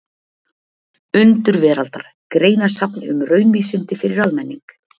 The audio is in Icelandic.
Undur veraldar: Greinasafn um raunvísindi fyrir almenning.